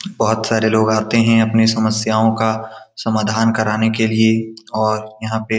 बहोत सारे लोग आते हैं अपनी समस्यो का समाधान कराने के लिए और यहाँ पे --